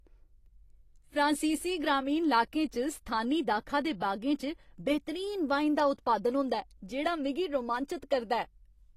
फ्रांसीसी ग्रामीण लाकें च स्थानी दाखा दे बागें च बेह्तरीन वाइन दा उत्पादन होंदा ऐ, जेह्ड़ा मिगी रोमांचत करदा ऐ।